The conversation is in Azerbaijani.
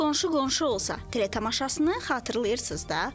Məşhur qonşu-qonşu olsa teleshasını xatırlayırsız da.